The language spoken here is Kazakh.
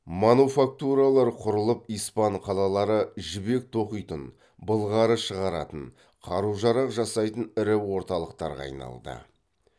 мануфактуралар құрылып испан қалалары жібек тоқитын былғары шығаратын қару жарақ жасайтын ірі орталықтарға айналды